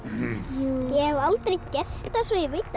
jú ég hef aldrei gert það svo ég veit